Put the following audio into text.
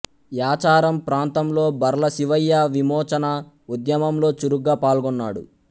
యాచారం ప్రాంతంలో బర్ల శివయ్య విమోచన ఉద్యమంలో చురుగ్గా పాల్గొన్నాడు